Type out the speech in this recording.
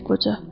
dedi qoca.